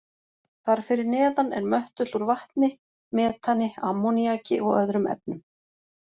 Þar fyrir neðan er möttull úr vatni, metani, ammoníaki og öðrum efnum.